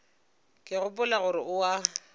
ke gopola gore o a